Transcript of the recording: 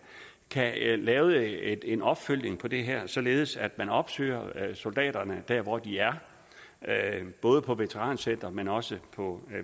kan lave en opfølgning på det her således at man opsøger soldaterne der hvor de er både på veterancentrene men også på